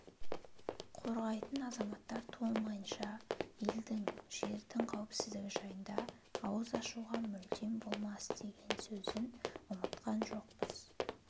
қорғайтын азаматтар туылмайынша елдің жердің қауіпсіздігі жайында ауыз ашуға мүлдем болмас деген сөзін ұмытқан жоқпыз